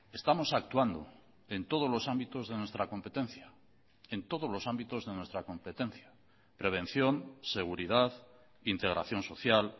estamos actuando en todos los ámbitos de nuestra competencia en todos los ámbitos de nuestra competencia prevención seguridad integración social